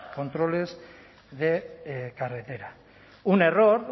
controles de carretera un error